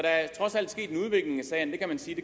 sige